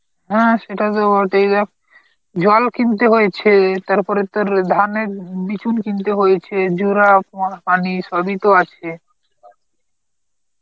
হ্যাঁ সেটা তো জল কিনতে হয়েছে, তারপরে তোর ধানের উম বিচুন কিনতে হয়েছে, জোড়া তোমার পানি সবই তো আছে